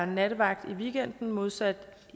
nattevagt i weekenden modsat